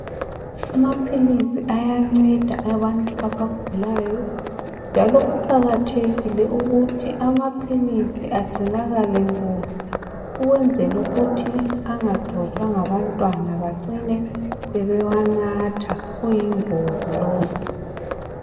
Amaphilisi ayanceda abantu abagulayo njalo kuqakathekile ukuthi amaphilisi agcinakale kuhle ,ukwenzela ukuthi angadojwa ngabantwana bacine sebewanatha kuyingozi lokho.